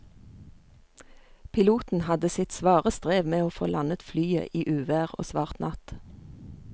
Piloten hadde sitt svare strev med å få landet flyet i uvær og svart natt.